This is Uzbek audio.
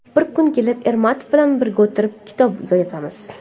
Bir kun kelib Ermatov bilan birga o‘tirib kitob yozamiz.